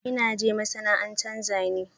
I na je masana'anta Zane.